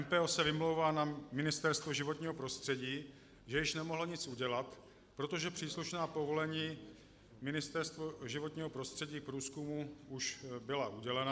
MPO se vymlouvá na Ministerstvo životního prostředí, že již nemohlo nic udělat, protože příslušná povolení Ministerstva životního prostředí k průzkumu už byla udělena.